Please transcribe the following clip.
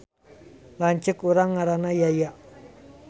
Lanceuk urang ngaranna Yaya